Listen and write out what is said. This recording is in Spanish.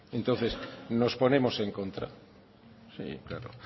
entonces nos ponemos en contra claro